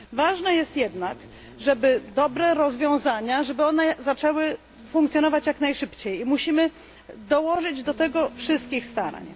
Ważne jest jednak, żeby dobre rozwiązania zaczęły funkcjonować jak najszybciej, i musimy dołożyć do tego wszystkich starań.